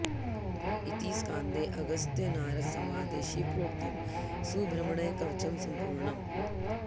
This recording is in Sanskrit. इति स्कान्दे अगस्त्य नारद संवादे शिवप्रोक्तं सुब्रह्मण्य कवचं सम्पूर्णम्